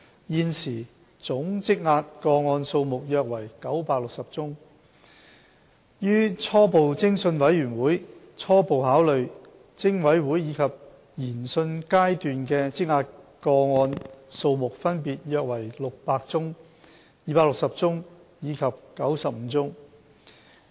現時總積壓個案數目約為960宗，於初步偵訊委員會初步考慮、偵委會及研訊階段的積壓個案數目分別約為600宗、260宗及95宗。